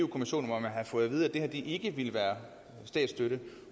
kommissionen og at man havde fået vide at det her ikke ville være statsstøtte